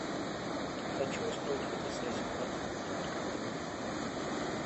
хочу устроить фотосессию как это можно организовать